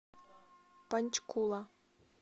панчкула